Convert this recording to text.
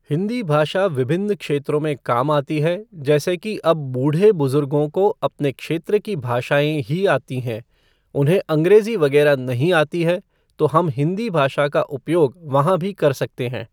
हिंदी भाषा विभिन्न क्षेत्रों में काम आती है जेसे कि अब बूढ़े बुज़ुर्गों को अपने क्षेत्र की भाषाएं ही आती हैं उन्हें अंग्रेज़ी वगैरह नहीं आती है, तो हम हिंदी भाषा का उपयोग वहाँ भी कर सकते हैं।